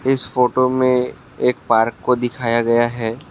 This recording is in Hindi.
इस फोटो में एक पार्क को दिखाया गया है।